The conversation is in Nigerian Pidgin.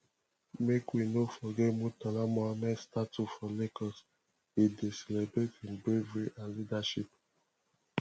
make we no forget murtala muhammed statue for lagos e dey celebrate im bravery and leadership